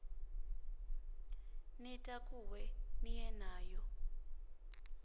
ni takuwe ni ye nayo